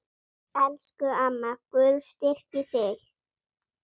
Elsku amma, Guð styrki þig.